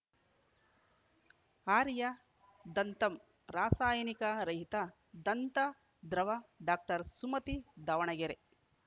ಆರ್ಯ ದಂತಮ್‌ ರಾಸಾಯಿನಿಕ ರಹಿತ ದಂತ ದ್ರವ ಡಾಕ್ಟರ್ ಸುಮತಿ ದಾವಣಗೆರೆ